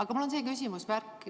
Mul on aga selline küsimus.